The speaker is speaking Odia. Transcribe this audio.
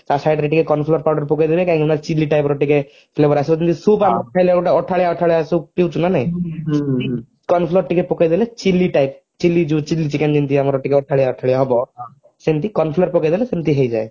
ତା side ରେ ଟିକେ corn flour powder ପକେଇଦେବେ କାହିଁକି ନା chilli type ର ଟିକେ flavor ଆସିବ ଯେମିତି soup ଆମର ଖାଇଲେ ଗୋଟେ ଅଠାଳିଆ ଅଠାଳିଆ soup ପିଉଛୁ ନା ନାହିଁ corn flour ଟିକେ ପକେଇଦେଲେ chilli type chilli chilli chikecn ଯେମିତି ଆମର ଟିକେ ଅଠାଳିଆ ଅଠାଳିଆ ହବ ସେମିତି corn flour ପକେଇଦେଲେ ସେମିତି ହେଇଯାଏ